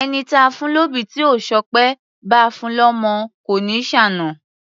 Ẹni táa fún lóbì tí ò ṣọpẹ́, báa fun lọ́mọ kò ní ṣàna.